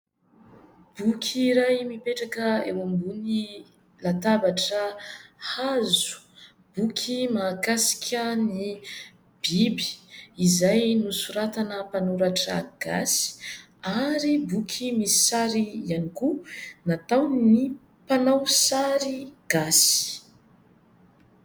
Boky iray, mipetraka eo ambony latabatra hazo. Boky mahakasika ny biby izay nosoratana mpanoratra gasy, ary boky misy sary ihany koa nataon'ny mpanao sary gasy.